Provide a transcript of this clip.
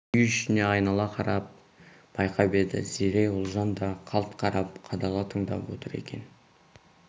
үй ішіне айнала қарап байқап еді зере ұлжан да қалт қарап қадала тыңдап отыр екен